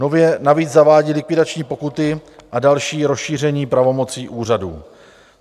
Nově navíc zavádí likvidační pokuty a další rozšíření pravomocí úřadů.